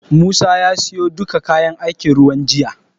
Musa ya siyo duka kayan aikin ruwan jiya.